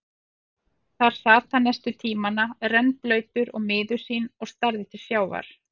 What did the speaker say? Þar sat hann næstu tímana, rennblautur og miður sín og starði til sjávar.